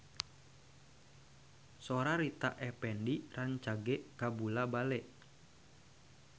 Sora Rita Effendy rancage kabula-bale